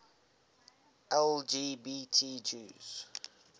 lgbt jews